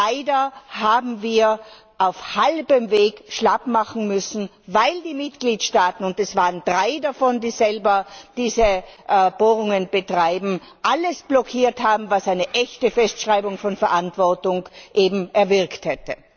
Leider haben wir auf halbem Weg schlappmachen müssen, weil die Mitgliedstaaten und es waren drei davon, die selber diese Bohrungen betreiben alles blockiert haben, was eine echte Festschreibung von Verantwortung eben erwirkt hätte.